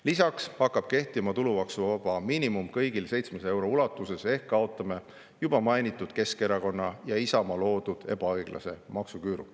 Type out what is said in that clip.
Lisaks hakkab kehtima kõigil 700 euro ulatuses tulumaksuvaba miinimum ehk kaotame juba mainitud Keskerakonna ja Isamaa loodud ebaõiglase maksuküüru.